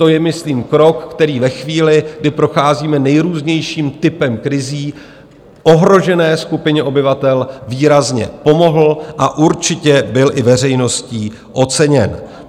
To je myslím krok, který ve chvíli, kdy procházíme nejrůznějším typem krizí, ohrožené skupině obyvatel výrazně pomohl a určitě byl i veřejností oceněn.